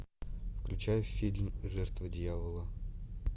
включай фильм жертва дьявола